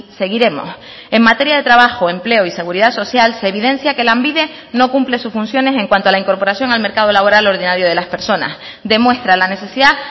seguiremos en materia de trabajo empleo y seguridad social se evidencia que lanbide no cumple sus funciones en cuanto a la incorporación al mercado laboral ordinario de las personas demuestra la necesidad